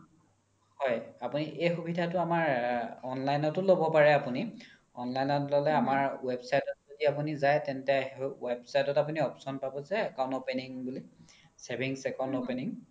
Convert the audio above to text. হয় এই সুবিধাতো আমাৰ online তও ল্'ব পাৰে আপোনি online ত ল'লে আমাৰ website ত যদি আপোনি যাই তেন্তে website ত option পাব যে account opening বুলি savings account opening